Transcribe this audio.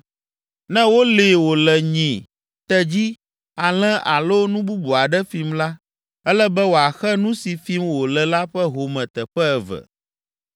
“Ne wolée wòle nyi, tedzi, alẽ alo nu bubu aɖe fim la, ele be wòaxe nu si fim wòle la ƒe home teƒe eve.